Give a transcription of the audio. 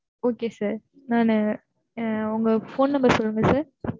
Okay sir நானு உங்க phone number சொல்லுங்க sir.